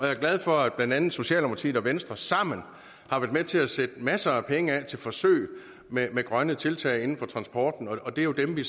er glad for at blandt andet socialdemokratiet og venstre sammen har været med til at sætte masser af penge af til forsøg med grønne tiltag inden for transport og det er jo dem vi